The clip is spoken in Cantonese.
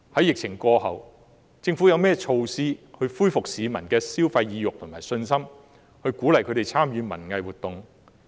疫情過後，政府有何措施恢復市民的消費意欲和信心，鼓勵他們參與文藝活動呢？